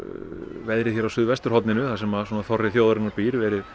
veðrið hérna á suðvesturhorninu þar sem þorri þjóðarinnar býr verið